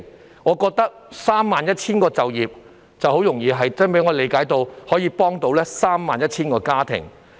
以我理解，有 31,000 個就業機會，就可以幫助到 31,000 個家庭。